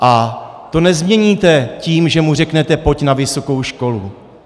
A to nezměníte tím, že mu řeknete: pojď na vysokou školu.